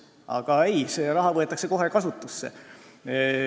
Aga ei, see raha võetakse kohe kasutusse.